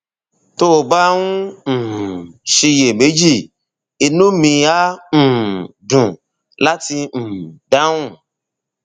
tó o bá ń um ṣiyèméjì inú mi á um dùn láti um dáhùn